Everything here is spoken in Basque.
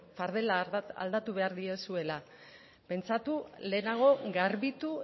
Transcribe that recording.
fardela aldatu behar diozuela pentsatu lehenago garbitu